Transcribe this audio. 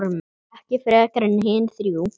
Ekki frekar en hin þrjú.